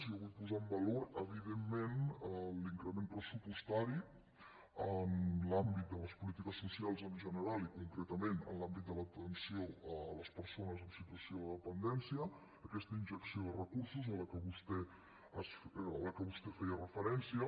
jo vull posar en valor evidentment l’increment pressupostari en l’àmbit de les polítiques socials en general i concretament en l’àmbit de l’atenció a les persones en situació de dependència aquesta injecció de recursos a què vostè feia referència